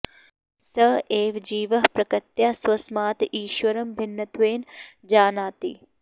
स एव जीवः प्रकृत्या स्वस्मात् ईश्वरं भिन्नत्वेन जानाति